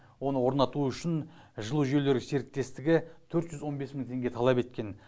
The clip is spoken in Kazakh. оны орнату үшін жылу жүйелері серіктестігі төрт жүз он бес мың теңге талап еткен